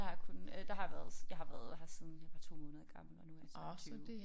Jeg har kun øh der har jeg været jeg har været her siden jeg var 2 måneder gammel og nu er jeg 22